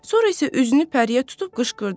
Sonra isə üzünü Pəriyə tutub qışqırdı.